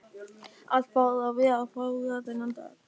Allt varð að vera fágað þennan dag.